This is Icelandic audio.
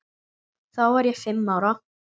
Þá var ég fimm ára.